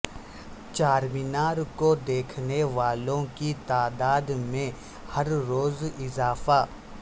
چارمینار کو دیکھنے والوں کی تعداد میں ہر روز اضافہ